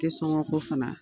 sɔŋɔ ko fana